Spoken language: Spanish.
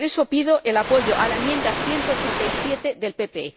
Y por eso, pido el apoyo a la enmienda 187 del PPE.